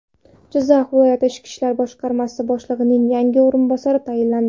Jizzax viloyati Ichki ishlar boshqarmasi boshlig‘ining yangi o‘rinbosari tayinlandi.